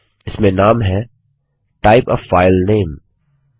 इसमें नाम है टाइप आ फाइल नामे